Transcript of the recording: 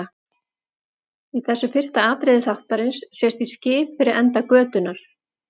Í þessu fyrsta atriði þáttarins sést í skip fyrir enda götunnar.